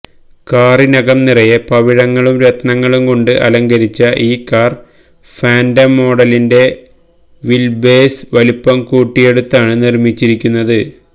കാറിനകം നിറയെ പവിഴങ്ങളും രത്നങ്ങളും കൊണ്ട് അലങ്കരിച്ച ഈ കാര് ഫാന്റം മോഡലിന്റെ വില്ബേസ് വലിപ്പം കൂട്ടിയെടുത്താണ് നിര്മിച്ചിരിക്കുന്നത്